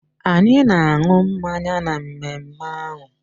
Anyị na-aṅụ mmanya na mmemme ahụ